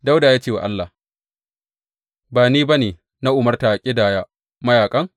Dawuda ya ce wa Allah, Ba ni ba ne na umarta a ƙidaya mayaƙan?